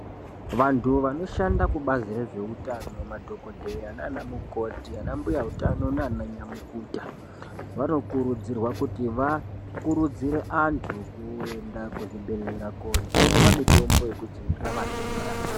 Vantu vanoshanda kubazi rezveutano madhokoteya nanamukoti anambuya utano nananyamukuta vanokurudzirwa kuti vakurudzire vantu kuenda kuzvibhedhlera kojungwa mitombo yekudzivirira matenda.